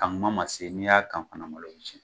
Kan kuma ma se n'i y'a kan fana malo bi cɛn.